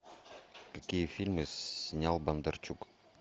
какие фильмы снял бондарчук